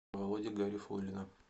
володи гарифуллина